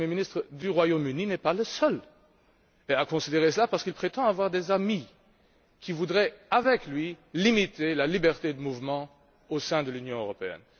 le premier ministre du Royaume Uni n'est pas le seul à considérer cela parce qu'il prétend avoir des amis qui voudraient, avec lui, limiter la liberté de mouvement au sein de l'Union européenne.